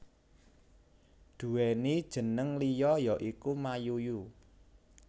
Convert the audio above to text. Duwéni jénéng liya ya iku Mayuyu